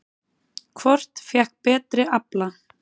Hvort fékk betri afla?